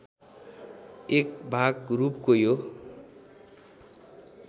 एकभाग रूपको यो